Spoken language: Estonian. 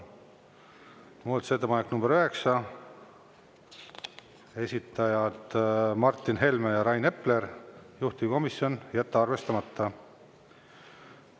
Muudatusettepanek nr 9, esitajad Martin Helme ja Rain Epler, juhtivkomisjon: jätta arvestamata.